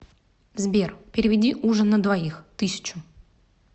сбер переведи ужин на двоих тысячу